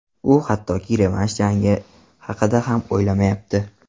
U hattoki revansh jangi haqida ham o‘ylamayapti.